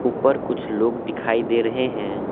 ऊपर कुछ लोग दिखाई दे रहे है।